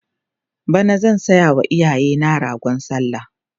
bana zan sayawa iyayena ragon sallah